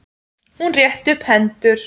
Hún rétti upp hendur.